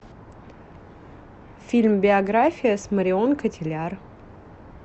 фильм биография с марион котийяр